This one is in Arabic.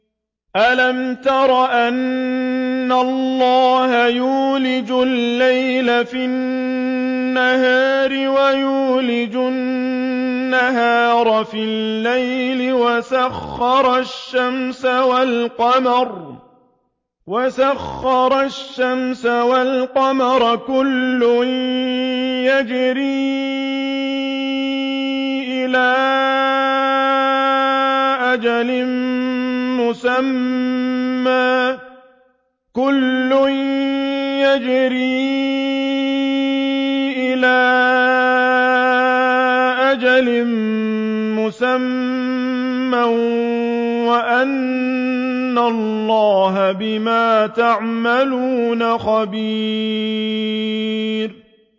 أَلَمْ تَرَ أَنَّ اللَّهَ يُولِجُ اللَّيْلَ فِي النَّهَارِ وَيُولِجُ النَّهَارَ فِي اللَّيْلِ وَسَخَّرَ الشَّمْسَ وَالْقَمَرَ كُلٌّ يَجْرِي إِلَىٰ أَجَلٍ مُّسَمًّى وَأَنَّ اللَّهَ بِمَا تَعْمَلُونَ خَبِيرٌ